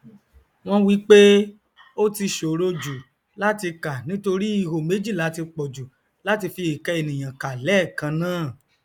wọn wípé ó ti ṣòro jù látì kà nítorí ihò méjìlá ti pọjù láti fi ìka ènìyàn kàn lẹẹkannáà